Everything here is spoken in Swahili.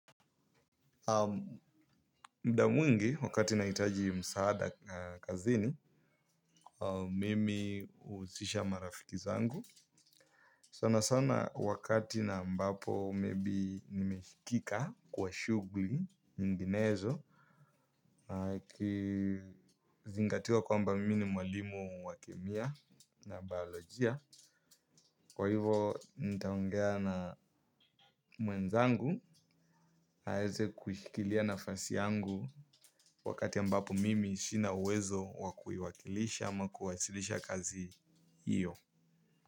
Muda mwingi wakati nahitaji msaada kazini, mimi huhusisha marafiki zangu sana sana wakati na ambapo maybe nimeshikika kwa shugli mbinezo. Kizingatiwa kwamba mimi ni mwalimu wa kemia na bayolojia. Kwa hivo nitaongea na mwenzangu, aeze kushikilia nafasi yangu. Wakati ambapo mimi sina uwezo wa kuiwakilisha ama kuwasilisha kazi hiyo.